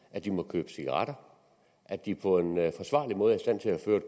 at de må købe cigaretter at de på en forsvarlig måde